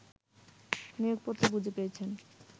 নিয়োগপত্র বুঝে পেয়েছেন